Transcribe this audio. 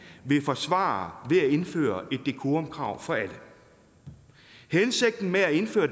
vil forsvare ved at indføre et decorumkrav for alle hensigten med at indføre